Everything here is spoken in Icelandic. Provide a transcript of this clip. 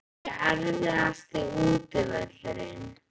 Hver er erfiðasti útivöllurinn?